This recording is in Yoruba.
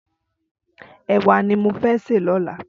Ẹwà ni mó fè sé lọ̀lá